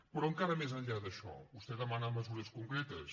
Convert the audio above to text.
però encara més enllà d’això vostè demana mesures concretes